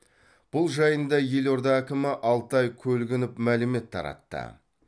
бұл жайында елорда әкімі алтай көлгінов мәлімет таратты